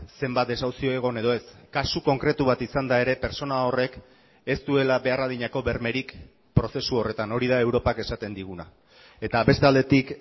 zenbat desahuzio egon edo ez kasu konkretu bat izanda ere pertsona horrek ez duela behar adinako bermerik prozesu horretan hori da europak esaten diguna eta beste aldetik